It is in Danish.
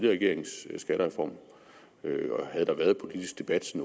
regerings skattereform og havde der været politisk debat